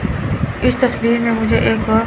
इस तस्वीर में मुझे एक--